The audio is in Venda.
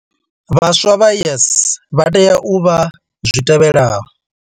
Vhaswa vha YES vha tea u vha zwitevhelaho.